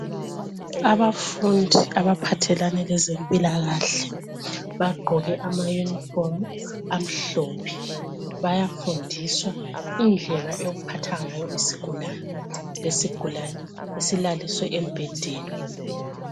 Abafundi abaphathelane lezempilakahle bagqoke amayunifomu amhlophe. Bayafundiswa indlela yokuphatha ngayo isigulane. Lesigulane silaliswe embhedeni.